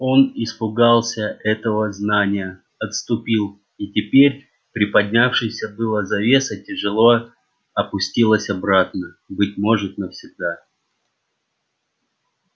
он испугался этого знания отступил и теперь приподнявшаяся было завеса тяжело опустилась обратно быть может навсегда